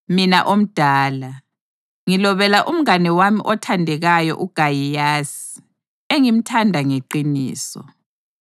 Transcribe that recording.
Mina omdala, Ngilobela umngane wami othandekayo uGayiyasi, engimthanda ngeqiniso.